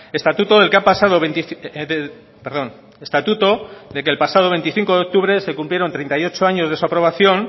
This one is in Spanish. estatuto del que el pasado veinticinco de octubre se cumplieron treinta y ocho años de su aprobación